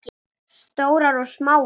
Stórar og smáar.